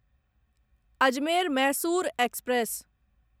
Ajmer Mysore express